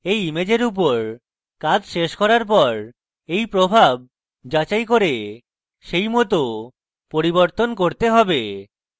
এই ইমেজের উপর কাজ শেষ হওয়ার পর এই প্রভাব যাচাই করে সেইমত পরিবর্তন করতে have